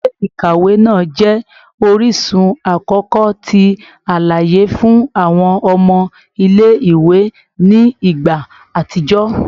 Ile-ikawe naa jẹ orisun akọkọ ti alaye fun awọn ọmọ ile-iwe ni igba atijọ